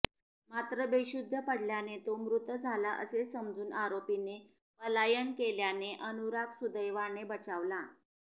मात्र बेशुद्ध पडल्याने तो मृत झाला असे समजून आरोपीने पलायन केल्याने अनुराग सुदैवाने बचावला